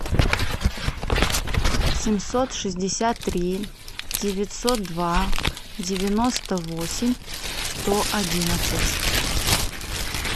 семьсот шестьдесят три девятьсот два девяносто восемь сто одиннадцать